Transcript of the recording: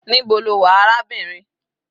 Níbo lo wà arábìnrin?